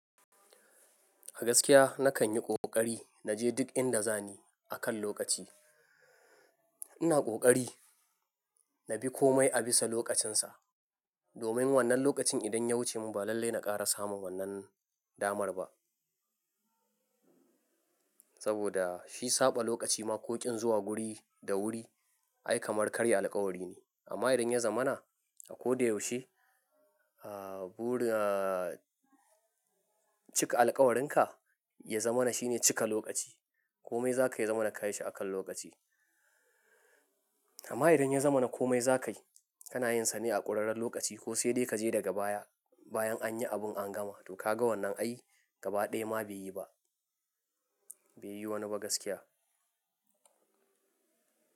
A gaskiya nakan yi ƙoƙari na je duk inda za ni akan lokaci. Ina ƙoƙari na bi komai a bisa lokacinsa. Domin wannan lokacin idan ya wuce mu ba lallai na ƙara samun wannan damar ba. Saboda shi saɓa lokaci ma ko ƙin zuwa guri da wuri ai kamar karya alƙawari ne. Amma idan ya zamana a ko da yaushe, ah, bu, ah, cika alƙawarinka ya zamana shine cika lokaci. Komai za ka yi ya zamana ka yi shi akan lokaci. Amma idan ya zamana komai za ka yi, kana yin sane a ƙurarren lokaci ko sai de ka je daga baya, bayan an yi abun an gama. To ka ga wannan ai gaba ɗaya ma bai yi ba. Bai yi wani ba gaskiya.